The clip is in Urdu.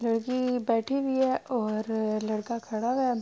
لڑکی بیٹھی ہوئی ہے اور لڑکا کھڈا ہے۔